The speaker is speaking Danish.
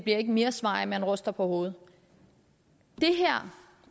ikke mere svar af at man ryster på hovedet det her